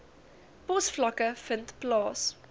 posvlakke vind plaas